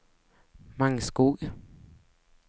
Mangskog